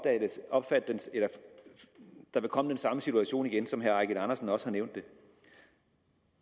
ikke der vil komme den samme situation igen som herre eigil andersen også har nævnt det